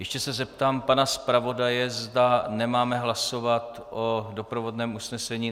Ještě se zeptám pana zpravodaje, zda nemáme hlasovat o doprovodném usnesení.